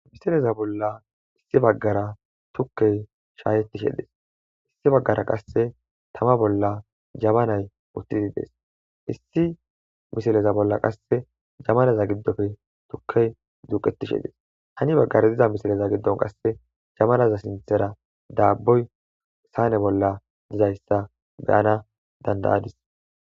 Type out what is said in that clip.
Misileza bolla issi baggara tukkey shaayettishe dees issi baggara qasse tama bolla jamanay uttidides issi misileza bolla qasse jamalaza giddofe tukkey duuqettishe dees hani baggara diza misileza giddon qasse jamalaza sinthera daabboy saane bolla dizayssa beyana dandayadis.